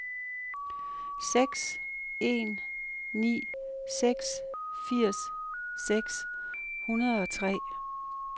seks en ni seks firs seks hundrede og tre